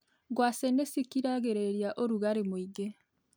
Ngwacĩ nĩcikiragĩrĩria ũrugarĩ mũingĩ.